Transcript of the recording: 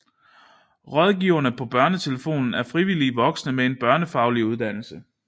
Rådgiverne på BørneTelefonen er frivillige voksne med en børnefaglig uddannelse